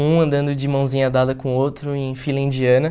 Um andando de mãozinha dada com o outro em fila indiana.